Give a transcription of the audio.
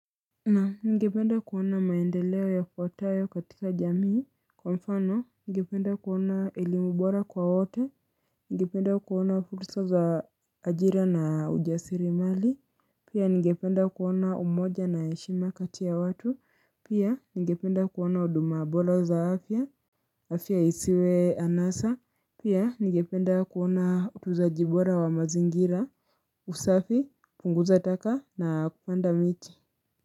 Na ningependa kuona maendeleo yafuatayo katika jamii Kwa mfano ningependa kuona elimu bora kwa wote ningependa kuona fursa za ajira na ujasiriamali Pia ningependa kuona umoja na heshima kati ya watu Pia ningependa kuona huduma bora za afya afya isiwe anasa Pia ningependa kuona utunzaji bora wa mazingira usafi, punguza taka na kupanda miti.